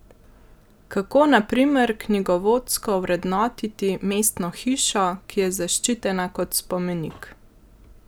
Kako, na primer, knjigovodsko ovrednotiti mestno hišo, ki je zaščitena kot spomenik?